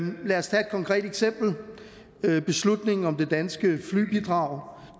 konkret eksempel nemlig beslutningen om det danske flybidrag